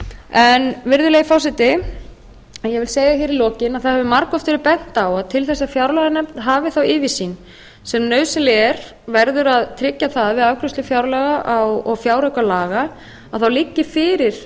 á virðulegi forseti ég vil segja hér í lokin að það hefur margoft verið bent á að til þess að fjárlaganefnd hafi þá yfirsýn sem nauðsynleg er verði að tryggja að við afgreiðslu fjárlaga og fjáraukalaga liggi fyrir